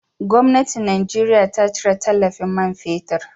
Gwamnatin Najeriya ta cire tallafin man fetir.